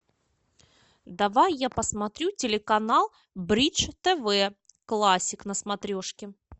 давай я посмотрю телеканал бридж тв классик на смотрешке